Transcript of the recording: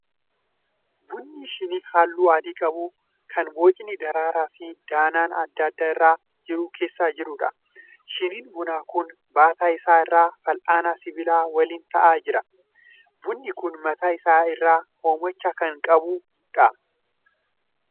Buna shinii halluu adii qabu kan bocni daraaraa fi danaan adda addaa irra jiru keessa jiruudha. Shiniin bunaa kun baataa isaa irra fal'aana sibiilaa waliin ta'aa jira. Bunni kun mataa isaa irraa hoomacha kan qabuudha.